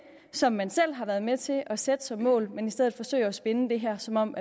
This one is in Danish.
som man selv har været med til at sætte som mål men i stedet forsøger at spinne det her som om